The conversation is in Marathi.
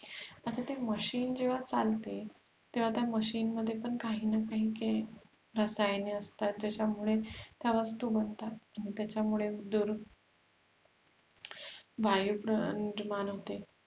आता ते machine जेव्हा चालते तेव्हा त्या machine मध्ये पण काही न काही रसायने असतात ज्याच्यामुळे त्या वस्तु बनतात त्याच्यामुळे दुर वायू प्रा निर्माण होते